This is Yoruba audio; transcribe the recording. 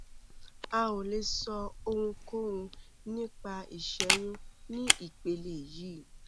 a ò lè sọ ohunkóhun nípa ìṣẹyún ní ìpele yìí